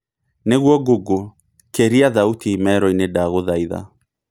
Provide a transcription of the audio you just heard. nigũo google kĩria thaũtĩ imero-ini ndagũthaĩtha